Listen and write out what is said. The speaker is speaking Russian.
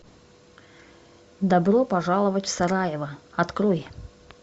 добро пожаловать в сараево открой